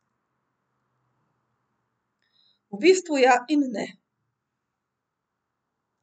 V bistvu ja in ne.